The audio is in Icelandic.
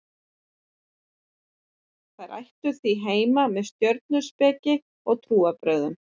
þær ættu því heima með stjörnuspeki og trúarbrögðum